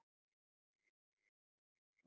.